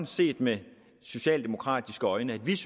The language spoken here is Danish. set med socialdemokratiske øjne er